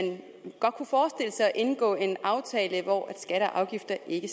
indgå en aftale hvor skatter og afgifter ikke